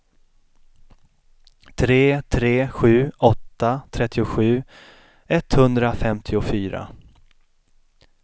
tre tre sju åtta trettiosju etthundrafemtiofyra